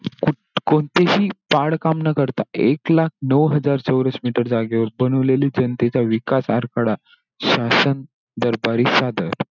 कोणतेही पहाड काम न करता, एक लाख नऊ हजार चौरस मीटर जागेवर बनवलेली जनतेचा विकास आराखडा, शासन दरबारी सादर.